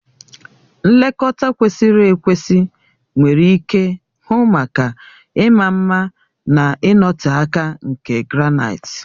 Nlekọta kwesịrị ekwesị nwere ike hụ maka ịma mma na ịnọte aka nke granaịti.